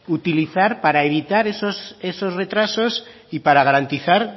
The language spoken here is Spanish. utilizar para evitar esos retrasos y para garantizar